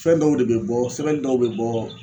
Fɛn dɔw de be bɔ sɛbɛnni dɔw be bɔ